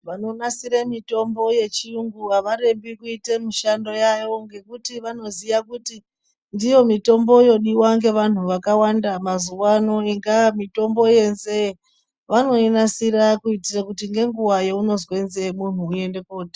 Vanonasira mitombo yechiyungu avarembi kuite mishando yavo ngekuti vanoziya kuti ndiyo mitombo yodiwa ngevanhu vakawanda mazuvaano ingaa mutombo wenzee vanoinasira kuti ngenguva yaunonzwa nzee munhi unoenda kotenga.